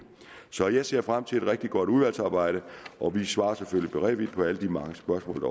så jeg ser frem til et rigtig godt udvalgsarbejde og vi svarer selvfølgelig beredvilligt på alle de mange spørgsmål